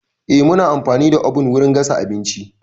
Eh, muna amfani da oven wurin gasa abinci.